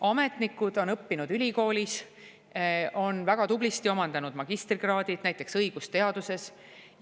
Ametnikud on õppinud ülikoolis, on väga tublisti omandanud magistrikraadid, näiteks õigusteaduses.